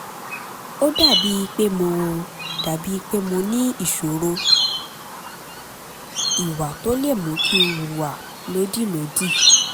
ó dàbíi pé mo dàbíi pé mo ní ìṣòro ìwà tó lè mú kí n hùwà lódìlódì